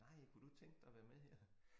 Nej kunne du tænke dig at være med her?